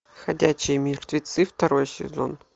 ходячие мертвецы второй сезон